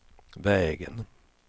vägen